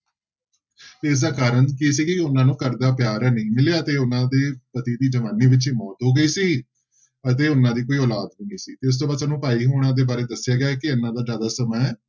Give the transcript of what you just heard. ਇਸਦਾ ਕਾਰਨ ਕੀ ਸੀ ਕਿ ਉਹਨਾਂ ਨੂੰ ਘਰ ਦਾ ਪਿਆਰ ਨਹੀਂ ਮਿਲਿਆ ਤੇ ਉਹਨਾਂ ਦੇ ਪਤੀ ਦੀ ਜਵਾਨੀ ਵਿੱਚ ਹੀ ਮੌਤ ਹੋ ਗਈ ਸੀ ਅਤੇ ਉਹਨਾਂ ਦੀ ਕੋਈ ਔਲਾਦ ਸੀ ਤੇ ਇਸ ਤੋਂ ਬਾਅਦ ਸਾਨੂੰ ਭਾਈ ਹੋਣਾ ਦੇ ਬਾਰੇ ਦੱਸਿਆ ਗਿਆ ਹੈ ਕਿ ਇਹਨਾਂ ਦਾ ਜ਼ਿਆਦਾ ਸਮਾਂ ਹੈ,